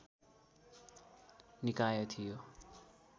निकाय थियो